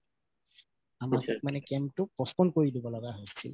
মানে camp তো postpone কৰি দিব লাগা হৈছিল